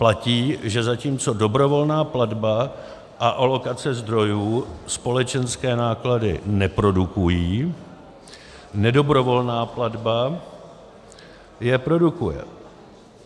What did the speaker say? Platí, že zatímco dobrovolná platba a alokace zdrojů společenské náklady neprodukují, nedobrovolná platba je produkuje.